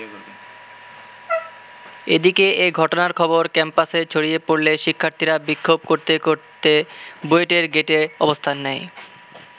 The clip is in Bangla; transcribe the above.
এদিকে এ ঘটনার খবর ক্যাম্পাসে ছড়িয়ে পড়লে শিক্ষার্থীরা বিক্ষোভ করতে করতে বুয়েটের গেইটে অবস্থান নেয়।